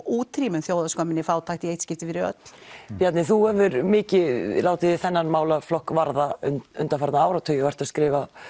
útrýmum fátækt í eitt skipti fyrir öll Bjarni þú hefur mikið látið þig þennan málaflokk varða undanfarna áratugi og er að skrifa